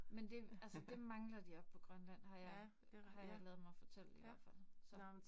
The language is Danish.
Men det altså det mangler de oppe på Grønland har jeg har jeg ladet mig fortælle i hvert fald. Så